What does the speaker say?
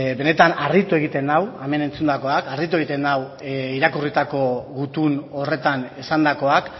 benetan harritu egiten nau hemen entzundakoak harritu egiten nau irakurritako gutun horretan esandakoak